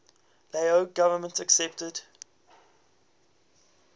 lao government accepted